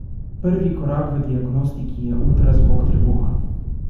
Prvi korak v diagnostiki je ultrazvok trebuha.